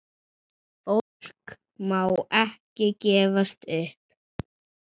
Fólk má ekki gefast upp.